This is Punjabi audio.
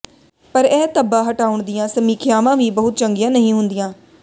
ਪਰ ਇਹ ਧੱਬਾ ਹਟਾਉਣ ਦੀਆਂ ਸਮੀਖਿਆਵਾਂ ਵੀ ਬਹੁਤ ਚੰਗੀਆਂ ਨਹੀਂ ਹੁੰਦੀਆਂ